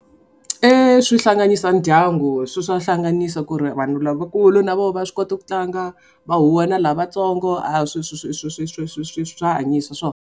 Eya swi hlanganisa ndyangu swa hlanganiso ku ri vanhu lavakulu na voho va swi koti ku tlanga va huhwa na lavatsongo a swi swi swi swi swi swi swi swi swa hanyisa swona.